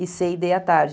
e cê e dê à tarde.